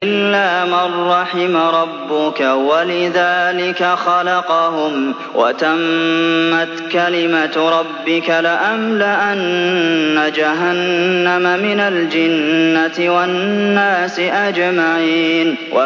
إِلَّا مَن رَّحِمَ رَبُّكَ ۚ وَلِذَٰلِكَ خَلَقَهُمْ ۗ وَتَمَّتْ كَلِمَةُ رَبِّكَ لَأَمْلَأَنَّ جَهَنَّمَ مِنَ الْجِنَّةِ وَالنَّاسِ أَجْمَعِينَ